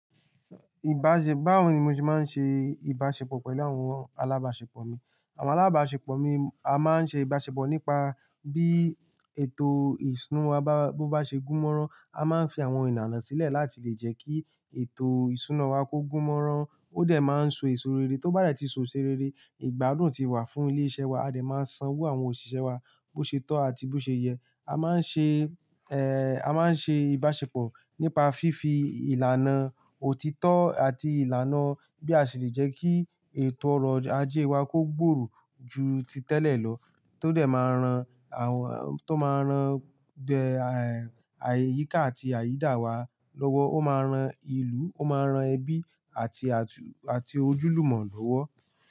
Ìbáṣe báwo ni mo ṣe máa ń ṣe ìbáṣepọ̀ pẹ̀lú àwọn alábáṣepọ̀ mi. Àwọn alábáṣepọ̀ mi a máa ń ṣe ìbáṣepọ̀ nípa bí ètò ìṣúná wa bá bó bá ṣe gún mọ́ran, a máa ń fi àwọn ìlànà sílẹ̀ láti lè jẹ́ kí ètò ìṣúná wa kó gún mọ́ran ó dẹ̀ máa ń so èso rere tó bá rẹ̀ ti so èso rere, ìgbádùn ti wà fún ilé-iṣẹ́ wa, a dẹ̀ máa sanwó àwọn òṣìṣẹ́ wa bó ṣe tọ́ àti bó ṣe yẹ. A máa ń ṣe, ẹ́ a máa ń ṣe ìbáṣepọ̀ nípa fífi ìlànà òtítọ́ àti ìlànà bí a ṣe lè jẹ́ kí ètò ọrọ̀ ajé wa kó gbòòrò ju ti tẹ́lẹ̀ lọ tó dẹ̀ máa rán àwọn tó máa rán bẹ́ẹ̀ ààyíká àti àyídà wa lọ́wọ́. Ó máa rán ìlú, ó máa rán ẹbí àti, àti ojúlùmọ̀ lọ́wọ́